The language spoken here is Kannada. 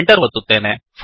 Enter ಒತ್ತುತ್ತೇನೆ